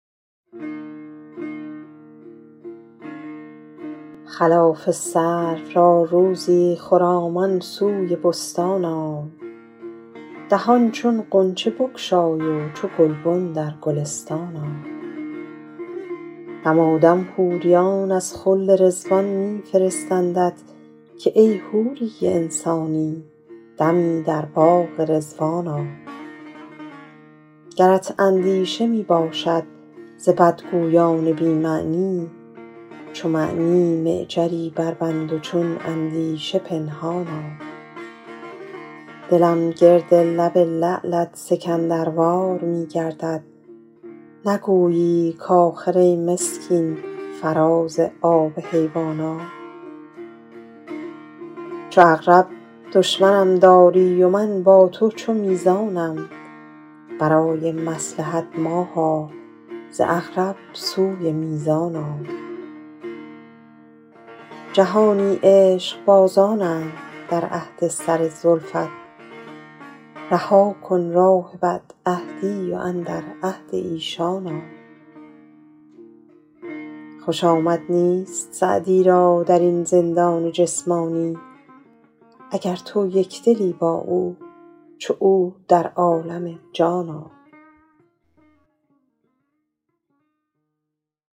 خلاف سرو را روزی خرامان سوی بستان آی دهان چون غنچه بگشای و چو گلبن در گلستان آی دمادم حوریان از خلد رضوان می فرستندت که ای حوری انسانی دمی در باغ رضوان آی گرت اندیشه می باشد ز بدگویان بی معنی چو معنی معجری بربند و چون اندیشه پنهان آی دلم گرد لب لعلت سکندروار می گردد نگویی کآخر ای مسکین فراز آب حیوان آی چو عقرب دشمنان داری و من با تو چو میزانم برای مصلحت ماها ز عقرب سوی میزان آی جهانی عشقبازانند در عهد سر زلفت رها کن راه بدعهدی و اندر عهد ایشان آی خوش آمد نیست سعدی را در این زندان جسمانی اگر تو یک دلی با او چو او در عالم جان آی